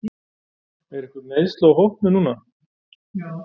Eru einhver meiðsli á hópnum núna?